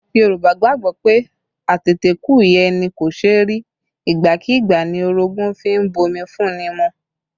Yorùbá gbàgbọ́ pé, ateteku ìyá ẹni kò ṣe rí, igbákígbá ni orogun fi ń bomi fún ni mu